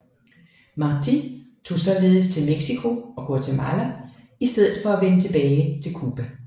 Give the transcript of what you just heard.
Martí tog således til Mexico og Guatemala i stedet for at vende tilbage til Cuba